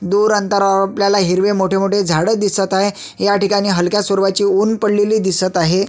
दूर अंतरावर आपल्याला हिरवे मोठे मोठे झाड दिसत आहे ह्या ठिकाणी हलक्या स्वरूपाचे उन्ह पडलेले दिसत आहे.